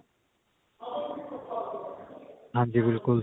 ਹਾਂਜੀ ਬਿਲਕੁਲ